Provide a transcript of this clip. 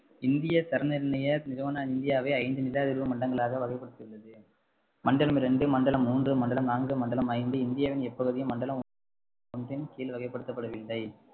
இந்திய தர நிர்ணய நிறுவனம் இந்தியாவை ஐந்து நிலதிர்வு மண்டலங்களாக வகைப்படுத்தியுள்ளது மண்டலம் இரண்டு, மண்டலம் மூன்று, மண்டலம் நான்கு, மண்டலம் ஐந்து இந்தியாவின் எப்பகுதியும் மண்டலம் ஒன்றின்கீழ் வகைப்படுத்தப்படவில்லை